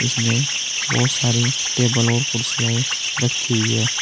इसमें बहोत सॉरी टेबल और कुर्सीआएं रखी हुई है।